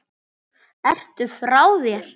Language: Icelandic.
Ertu frá þér!